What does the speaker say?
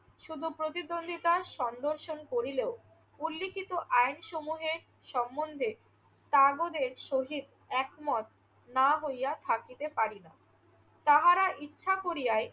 শুধু প্রতিদ্বন্দিতার সন্দর্শন করিলেও উল্লিখিত আইন সমূহে সম্মন্ধে কাগজের সহিত একমত না হইয়া থাকিতে পারি না। তাহারা ইচ্ছা করিয়াই